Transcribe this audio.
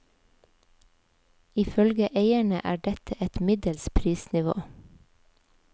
Ifølge eierne er dette et middels prisnivå.